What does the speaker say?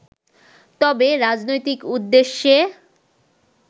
তবে, রাজনৈতিক উদ্দেশ্যে